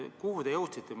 Kuhu te välja jõudsite?